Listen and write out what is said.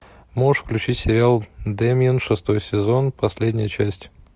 можешь включить сериал дэмиен шестой сезон последняя часть